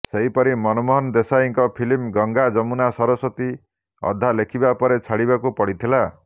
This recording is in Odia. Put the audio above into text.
ସେହିପରି ମନମୋହନ ଦେଶାଇଙ୍କ ଫିଲ୍ମ ଗଙ୍ଗା ଜମୁନା ସରସ୍ବତୀ ଅଧା ଲେଖିବା ପରେ ଛାଡିବାକୁ ପଡିଥିଲା